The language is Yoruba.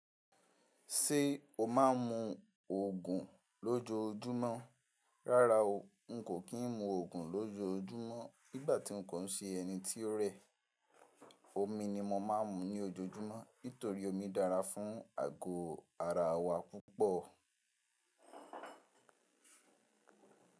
Ṣé o máa ń mu ògùn lójoojúmọ́. Rárá o, n kò kí ń mu ògùn lójoójúmọ́. Nígbà tí n kò ń ṣe ẹni tí ó rẹ̀, omi ni mo máa ń mu ní ojoojúmọ́ nítorí omi dára fún àgọ́ ara wa púpọ̀.